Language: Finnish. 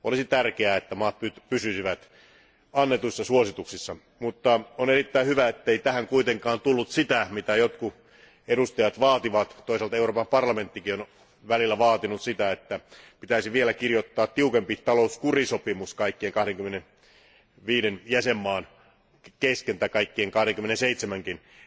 Olisi tärkeää, että maat pysyisivät annetuissa suosituksissa, mutta on erittäin hyvä, ettei tähän kuitenkaan tullut sitä, mitä jotkut edustajat vaativat, ja toisaalta Euroopan parlamenttikin on välillä vaatinut sitä, että pitäisi vielä kirjoittaa tiukempi talouskurisopimus kaikkien 25 jäsenmaan kesken tai kaikkien 27nkin kesken,